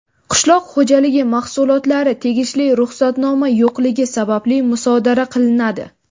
qishloq xo‘jaligi mahsulotlari tegishli ruxsatnoma yo‘qligi sababli musodara qilinadi.